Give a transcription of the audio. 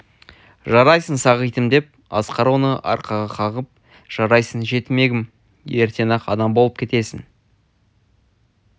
жарайсың сағитім деді асқар оны арқаға қағып жарайсың жетімегім ертең-ақ адам болып кетесің